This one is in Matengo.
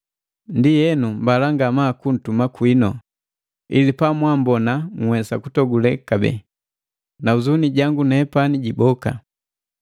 Ndienu mbala ngamaa kuntuma kwinu, ili pamwammbona nhwesa kutogule kabee, na huzuni jangu nepani jiboka.